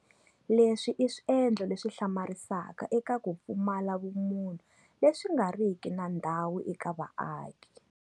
Leswi i swiendlo leswi hlamarisaka eka ku pfumala vumunhu leswi nga riki na ndhawu eka vaaki.